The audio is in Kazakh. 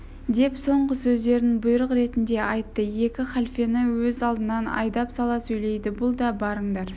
деп соңғы сөздерін бұйрық ретінде айтты екі халфені өз алдынан айдап сала сөйледі бұл да барыңдар